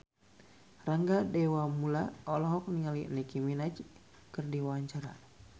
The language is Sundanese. Rangga Dewamoela olohok ningali Nicky Minaj keur diwawancara